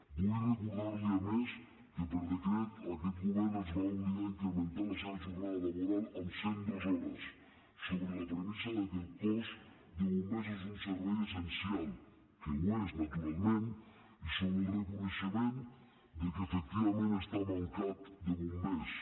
vull recordarli a més que per decret aquest govern els va obligar a incrementar la seva jornada laboral en cent dues hores sobre la premissa que el cos de bombers és un servei essencial que ho és naturalment i sobre el reconeixement que efectivament està mancat de bombers